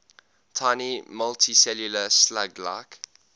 tiny multicellular slug like